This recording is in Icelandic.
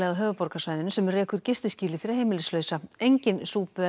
á höfuðborgarsvæðinu sem rekur fyrir heimilislausa engin